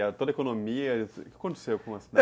Toda a economia, o que aconteceu com a cidade?